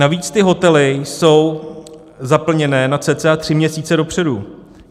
Navíc ty hotely jsou zaplněné na cca tři měsíce dopředu.